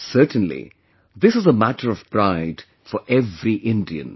Certainly, this is a matter of pride for every Indian